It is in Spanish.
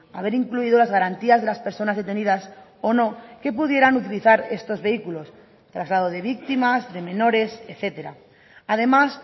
haber incluido las garantías de las personas detenidas o no que pudieran utilizar estos vehículos traslado de víctimas de menores etcétera además